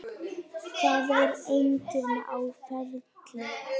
Það er enginn á ferli.